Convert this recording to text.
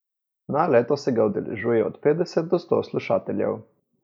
Na leto se ga udeležuje od petdeset do sto slušateljev.